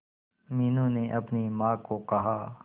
मीनू ने अपनी मां को कहा